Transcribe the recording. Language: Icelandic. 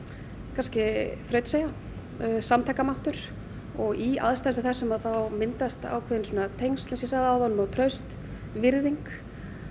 kannski þrautseigja og samtakamáttur og í aðstæðum sem þessum þá myndast ákveðin tengsl og og traust virðing